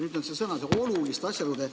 " Siin on sõnaühend "oluliste asjaolude".